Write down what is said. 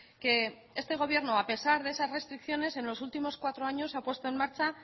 que este gobierno a pesar de esas restricciones en los últimos cuatro años ha puesto en marcha